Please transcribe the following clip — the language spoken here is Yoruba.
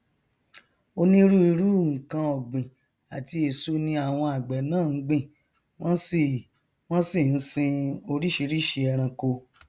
onírúirú nkan ọgbìn àti èso ni àwọn àgbẹ náà ngbìn wọn sì wọn sì nsin oríṣìíríṣìí ẹranko